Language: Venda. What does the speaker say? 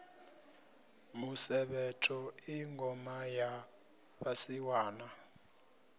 musevhetho i ngoma ya vhasiwana